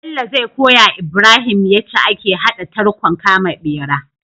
Bello zai koyawa ibrahim yace ake hada tarkon kama bera